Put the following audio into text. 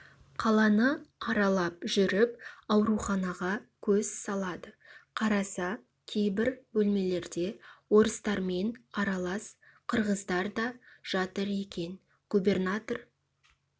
қаланы аралап жүріп ауруханаға көз салады қараса кейбір бөлмелерде орыстармен аралас қырғыздар да жатыр екен губернатор